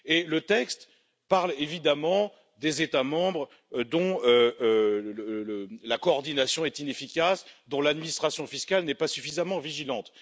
Le texte parle évidemment des États membres, dont la coordination est inefficace et dont l'administration fiscale n'est pas suffisamment vigilante.